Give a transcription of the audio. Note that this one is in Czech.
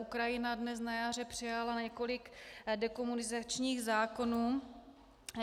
Ukrajina dnes na jaře přijala několik dekomunizačních zákonů.